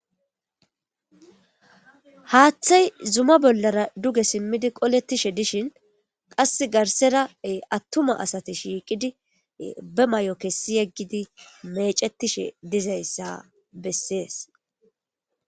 haaththay zuma bollara duge simmidi qolettishe dishin qass garserae attuma asate shiiqidi be may7o kessi yeggidi mecettishe dizayssa bessees